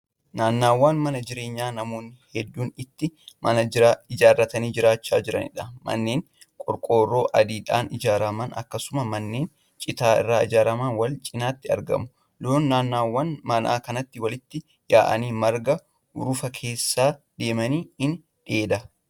Naannawa mana jireenyaa namoonni hedduun itti mana ijaarratanii jiraachaa jiraniidha. manneen qorqoorroo adiidhaan ijaarraman akkasumas manneen citaarraa ijaarraman wal cinaatti argamu. loon naannawa manaa kanatti walitti yaa'anii marga urufa keessa deemanii dheedaa jiru.